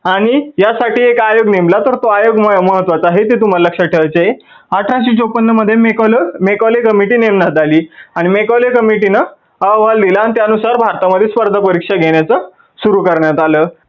आणि या साठी एक आयोग नेमला, तर तो आयोग महत्वाचा आहे तुम्हाला लक्षात ठेवायचे आहे. अठराशे चौपन्न मध्ये Mecaulay committee नेमण्यात आली आणि Mecaulay committee नं अहवाल लिहिला आणि त्या नुसार भारता मध्ये स्पर्धा परीक्षा घेण्याच सुरु करण्यात आलं.